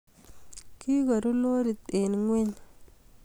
kigaruu lorit eng ingweny